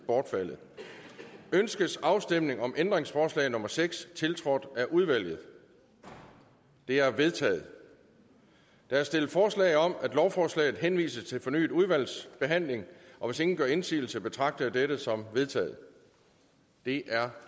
bortfaldet ønskes afstemning om ændringsforslag nummer seks tiltrådt af udvalget det er vedtaget der er stillet forslag om at lovforslaget henvises til fornyet udvalgsbehandling og hvis ingen gør indsigelse betragter jeg dette som vedtaget det er